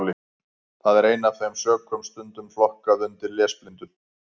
Það er af þeim sökum stundum flokkað undir lesblindu.